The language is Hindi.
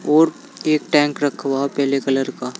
और एक टैंक रखा हुआ पीले कलर का।